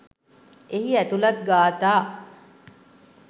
එහි ඇතුළත් ගාථා